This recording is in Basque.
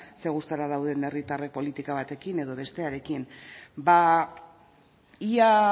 zein gustura dauden herritarrek politika batekin edo bestarekin ba ia